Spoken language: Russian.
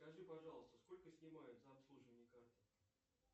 скажи пожалуйста сколько снимают за обслуживание карты